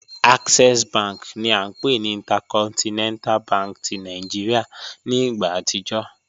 Access bank ni a npe ni Intercontinental bank ti Nigeria ni igba atijọ